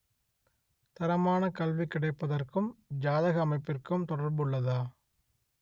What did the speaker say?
தரமான கல்வி கிடைப்பதற்கும் ஜாதக அமைப்பிற்கும் தொடர்புள்ளதா